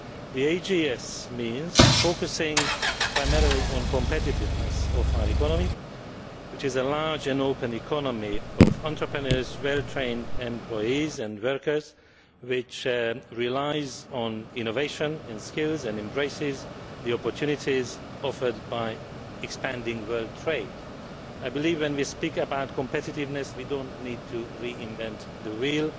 The AGS means focusing primarily on the competitiveness of our economy, which is a large and open economy of entrepreneurs, well trained employees and workers, which relies on innovation and skills, and embraces the opportunities offered by expanding world trade. When we speak about competitiveness we do not need to reinvent the wheel.